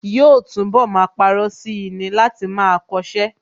Yóò túnbọ̀ máa parọ́ sí i ni láti máa kọṣẹ́